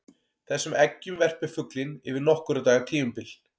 Þessum eggjum verpir fuglinn yfir nokkurra daga tímabil.